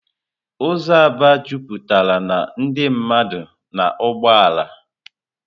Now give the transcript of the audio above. Ụzọ Aba jupụtara na ndị mmadụ na ụgbọ ala.